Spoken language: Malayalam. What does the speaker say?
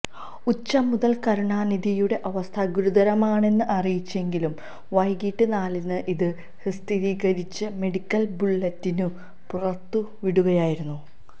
ഉച്ച മുതൽ കരുണാനിധിയുടെ അവസ്ഥ ഗുരുതരമാണെന്ന് അറിയിച്ചെങ്കിലും വൈകിട്ട് നാലിന് ഇത് സ്ഥിതീകരിച്ച് മെഡിക്കൽ ബുള്ളറ്റിനും പുറത്തുവിടുകയായിരുന്നു